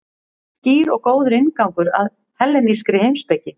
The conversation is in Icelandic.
Skýr og góður inngangur að hellenískri heimspeki.